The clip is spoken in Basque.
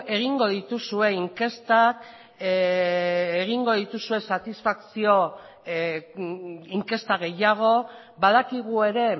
egingo dituzue inkestak egingo dituzue satisfazio inkesta gehiago badakigu ere